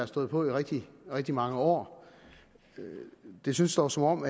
stået på i rigtig rigtig mange år det synes dog som om